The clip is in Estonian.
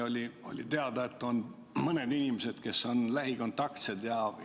Siis oli teada, et on mõned inimesed, kes on lähikontaktsed.